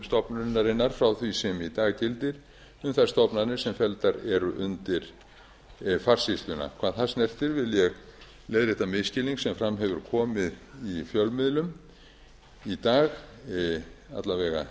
stofnunarinnar frá því sem í dag gildir um þær stofnanir sem felldar eru undir farsýsluna hvað það snertir vil ég leiðrétta misskilning sem fram hefur komið í fjölmiðlum í dag alla